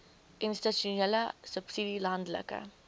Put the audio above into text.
institusionele subsidie landelike